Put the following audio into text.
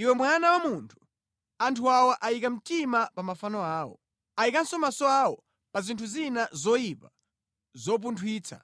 “Iwe mwana wa munthu, anthu awa ayika mtima pa mafano awo. Ayikanso maso awo pa zinthu zina zoyipa zopunthwitsa.